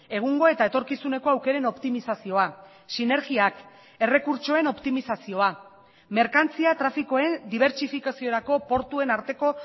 egungo eta etorkizuneko aukeren optimizazioa sinergiak errekurtsoen optimizazioa merkantzia trafikoen dibertsifikaziorako portuen arteko